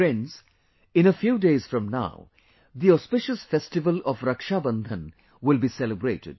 Friends, a few days from now, the auspicious festival of Rakshabandhan will be celebrated